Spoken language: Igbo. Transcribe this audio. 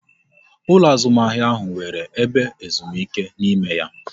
Ụlọ azụmahịa ahụ nwere ebe ezumike n'ime ya